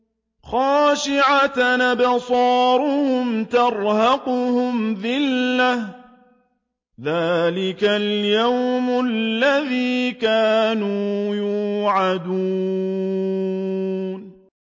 خَاشِعَةً أَبْصَارُهُمْ تَرْهَقُهُمْ ذِلَّةٌ ۚ ذَٰلِكَ الْيَوْمُ الَّذِي كَانُوا يُوعَدُونَ